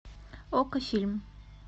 окко фильм